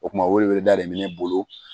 O kuma welewele da de bɛ ne bolo